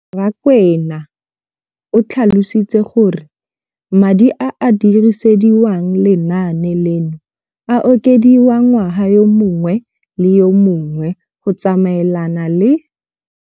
Rakwena o tlhalositse gore madi a a dirisediwang lenaane leno a okediwa ngwaga yo mongwe le yo mongwe go tsamaelana le.